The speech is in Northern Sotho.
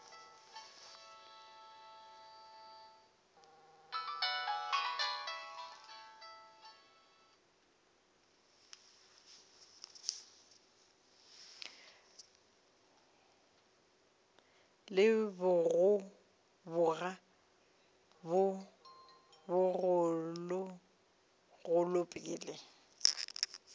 le bogoboga bjo bogologolo pele